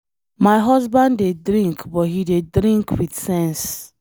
My husband dey drink but he dey drink with sense